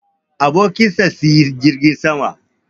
Abokin sa sayi jirgin sama